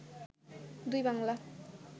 দুই বাংলা